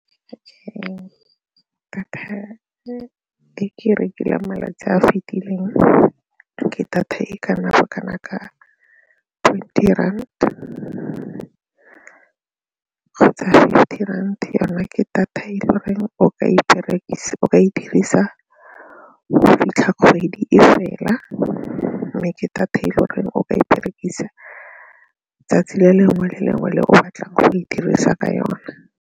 Data e ke e rekileng malatsi a a fitileng ke data e kana bokana ka twenty rand kgotsa fifty rand yona ke data e le goreng o ka e dirisa go fitlha kgwedi e fela mme ke data e le goreng o ka e berekisa 'tsatsi le lengwe le lengwe le o batlang go e dirisa ka yona.